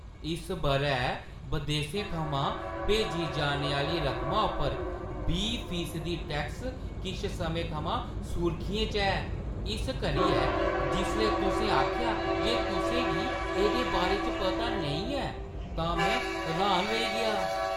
इस बʼरै बदेसें थमां भेजी जाने आह्‌ली रकमा उप्पर बीह् फीसदी टैक्स किश समें थमां सुर्खियें च ऐ, इस करियै जिसलै तुसें आखेआ जे तुसें गी एह्दे बारे च पता नेईं ऐ तां में र्‌हान रेही गेआ।